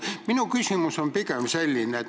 Minu küsimus on aga selline.